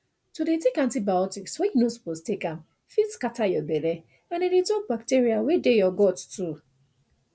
to dey take antibiotics when you no suppose take am fit scatter your belle and i dey talk bacteria wey dey you gut too